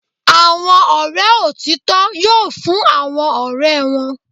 Àwọn ọ̀rẹ́ òtítọ́ yoo fún àwọn ọ̀rẹ́ wọn.